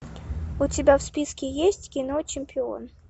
у тебя в списке есть кино чемпион